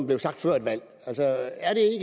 blev sagt før et valg altså